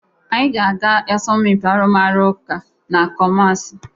Anyị ga-aga asọmpị arụmụka na Kụmasị.